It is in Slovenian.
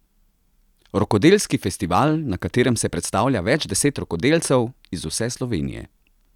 Rokodelski festival, na katerem se predstavlja več deset rokodelcev iz vse Slovenije.